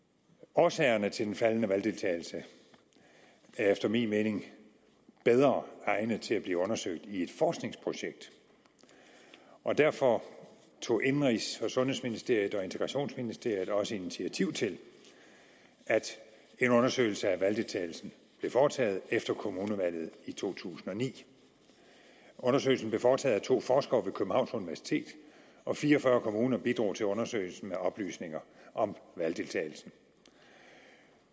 årsagerne til den faldende valgdeltagelse er efter min mening bedre egnet til at blive undersøgt i et forskningsprojekt derfor tog indenrigs og sundhedsministeriet og integrationsministeriet også initiativ til at en undersøgelse af valgdeltagelsen blev foretaget efter kommunevalget i to tusind og ni undersøgelsen blev foretaget af to forskere ved københavns universitet og fire og fyrre kommuner bidrog til undersøgelsen med oplysninger om valgdeltagelsen